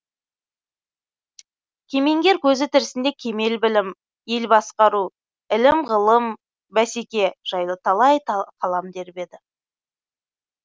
кемеңгер көзі тірісінде кемел білім ел басқару ілім ғылым бәсеке жайлы талай қалам тербеді